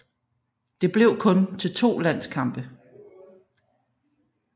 Det blev kun til to landskampe